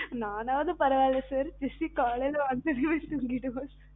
நானது பரவால்ல sir jessie காலைல வந்ததுமே தூங்கிடுவா sir